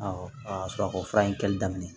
Awɔ a y'a sɔrɔ a ko fura in kɛli daminɛ